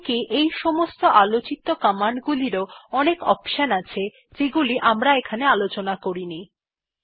এমনকি এই সমস্ত কমান্ড গুলিরও অনেক অপশনস আছে যেগুলি এখানে আলোচনা করা হয়েনি